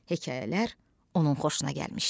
Hekayələr onun xoşuna gəlmişdi.